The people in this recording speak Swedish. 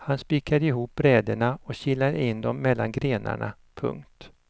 Han spikade ihop bräderna och kilade in dom mellan grenarna. punkt